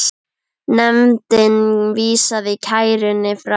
Nefndin vísaði kærunni frá.